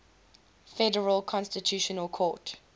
federal constitutional court